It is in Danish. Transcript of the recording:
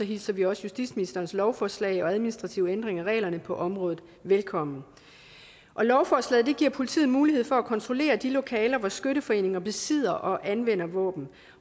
hilser vi også justitsministerens lovforslag og administrative ændringer af reglerne på området velkommen lovforslaget giver politiet mulighed for at kontrollere de lokaler hvor skytteforeninger besidder og anvender våben